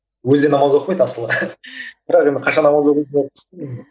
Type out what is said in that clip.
өзі де намаз оқымайды асылы бірақ енді қашан намаз оқисың деп қысты мені